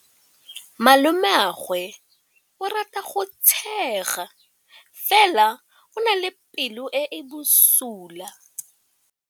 Malomagwe o rata go tshega fela o na le pelo e e bosula.